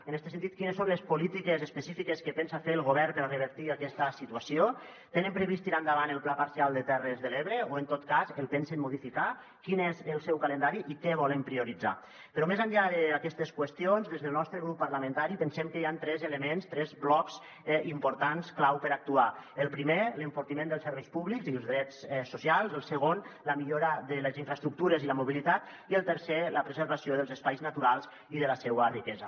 en este sentit quines són les polítiques específiques que pensa fer el govern per revertir aquesta situació tenen previst tirar endavant el pla parcial de terres de l’ebre o en tot cas el pensen modificar quin és el seu calendari i què volen prioritzar però més enllà d’aquestes qüestions des del nostre grup parlamentari pensem que hi han tres elements tres blocs importants clau per actuar el primer l’enfortiment dels serveis públics i els drets socials el segon la millora de les infraestructures i la mobilitat i el tercer la preservació dels espais naturals i de la seua riquesa